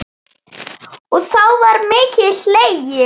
Og þá var mikið hlegið.